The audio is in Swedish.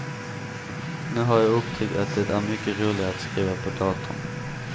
Nu har jag upptäckt att det är mycket roligare att skriva på datorn.